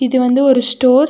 இது வந்து ஒரு ஸ்டார் .